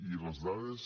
i les dades